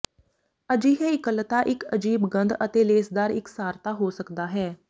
ਅਜਿਹੇ ਇਕੱਲਤਾ ਇੱਕ ਅਜੀਬ ਗੰਧ ਅਤੇ ਲੇਸਦਾਰ ਇਕਸਾਰਤਾ ਹੋ ਸਕਦਾ ਹੈ